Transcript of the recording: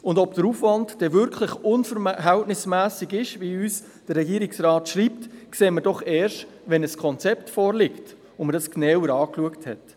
Und ob der Aufwand dann wirklich unverhältnismässig ist, wie uns der Regierungsrat schreibt, sehen wir doch erst, wenn ein Konzept vorliegt und wir dieses genauer angeschaut haben.